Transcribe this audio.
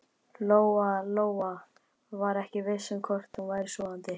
Lóa-Lóa var ekki viss um hvort hún væri sofandi.